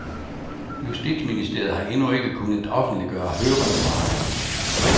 Justitsministeriet har endnu ikke kunnet offentliggøre høringssvarene.